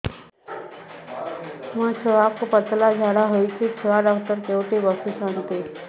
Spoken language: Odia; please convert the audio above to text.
ମୋ ଛୁଆକୁ ପତଳା ଝାଡ଼ା ହେଉଛି ଛୁଆ ଡକ୍ଟର କେଉଁଠି ବସୁଛନ୍ତି